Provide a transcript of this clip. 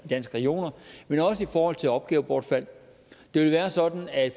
danske regioner men også i forhold til opgavebortfald det vil være sådan at